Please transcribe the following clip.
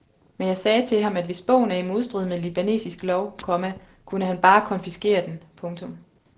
Men jeg sagde til ham at hvis bogen er i modstrid med libanesisk lov, komma kunne han bare konfiskere den. punktum